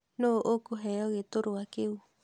Nũũ ũkũheo gĩtũrwa kĩũ?